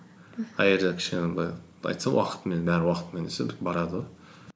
кішкене былай айтса уақытымен бәрі уақытымен десе барады ғой